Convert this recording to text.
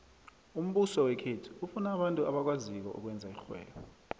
umbuso wekhethu ufuna abantu abakwaziko ukwenza irhwebo